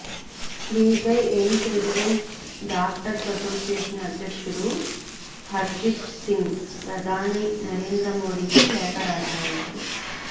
దీనిపై AIIMS resident doctors association అధ్యక్షుడు హర్జీత్ సింగ్ ప్రధాని నరేంద్రమోడికి లేఖ రాశారు